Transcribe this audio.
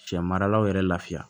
Cɛ maralaw yɛrɛ lafiya